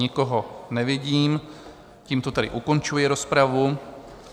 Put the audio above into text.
Nikoho nevidím, tímto tedy ukončuji rozpravu.